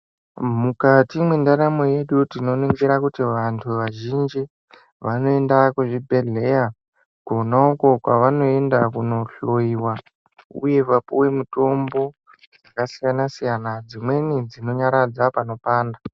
Mukati mwendaramo yedu tinoningira kuti vantu vazhinji vanoenda kuzvibhedhleya kona uku kwavanoenda kunohloyiwa. Uye vapuwe mitombo dzakasiyana --siyana. Dzimweni dzinonyaradza panopanda.